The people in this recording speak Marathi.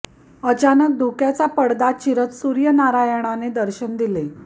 अचानक धुक्याचा परदा चिरत सूर्य नारायणाने दर्शन दिले